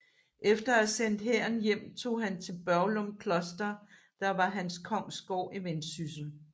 Efter at have sendt hæren hjem tog han til Børglum Kloster der var hans kongsgård i Vendsyssel